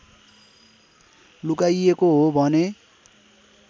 लुकाइएको हो भने